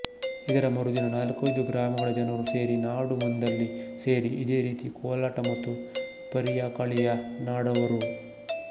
ಇದರ ಮರುದಿನ ನಾಲ್ಕೈದು ಗ್ರಾಮಗಳ ಜನರು ಸೇರಿ ನಾಡು ಮಂದ್ನಲ್ಲಿ ಸೇರಿ ಇದೇರೀತಿ ಕೋಲಾಟ ಮತ್ತು ಪರಿಯಕಳಿಯನ್ನಾಡುವರು